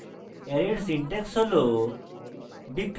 array এর syntax হল